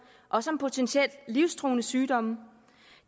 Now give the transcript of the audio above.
også om potentielt livstruende sygdomme